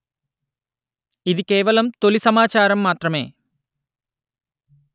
ఇది కేవలం తొలి సమాచారం మాత్రమే